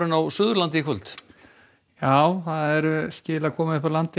á Suðurlandi í kvöld já það eru skil að koma upp úr landi